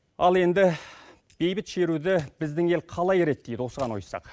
ал енді бейбіт шеруді біздің ел қалай реттейді осыған ойыссақ